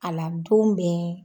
A la don bɛn